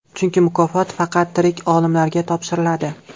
Chunki mukofot faqat tirik olimlarga topshiriladi.